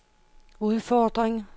udfordring